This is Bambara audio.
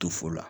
To fo la